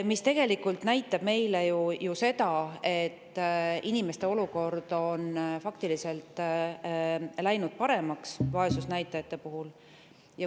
See näitab meile ju seda, et inimeste olukord vaesusnäitajate poolest on läinud faktiliselt paremaks.